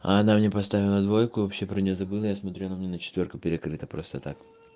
а она мне поставила двойку я вообще про нее забыла я смотру она у меня на четвёрку перекрыта просто так